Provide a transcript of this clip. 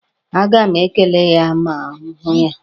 A ga m ekele ya ma m hụ ya.